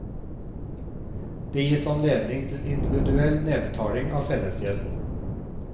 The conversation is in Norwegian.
Det gis anledning til individuell nedbetaling av fellesgjeld.